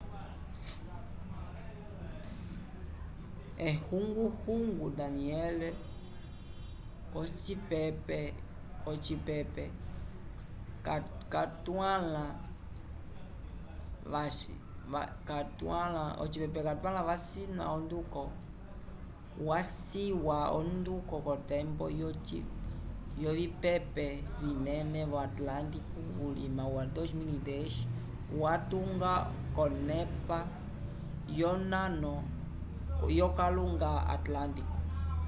ehunguhungu danielle ocipepe cakwãla yaciwa onduko kotembo yovipepe vinene vo atlântico vulima wa 2010 yalitunga konepa yonano yokalunga atlântico